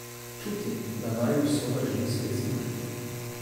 Čutim, da naju usoda želi spet združiti.